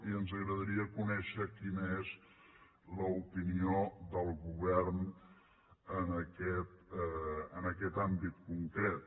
i ens agradaria conèixer quina és l’opinió del govern en aquest àmbit concret